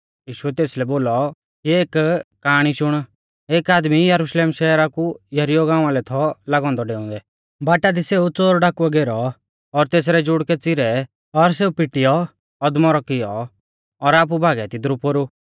यीशुऐ तेसलै बोलौ कि एक काआणी शुण एक आदमी यरुशलेम शहरा कु यरीहो गाँवा लै थौ लागौ औन्दौ डेऊंदै बाटा दी सेऊ च़ोरडाकुऐ घेरौ और तेसरै जुड़कै च़िरै और सेऊ पिटीऔ अदमौरौ कियौ और आपु भागै तिदरु पोरु